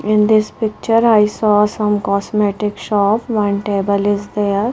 in this picture i saw some cosmetic shop one table is there.